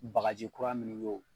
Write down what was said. Bagaji kura minnu ye wo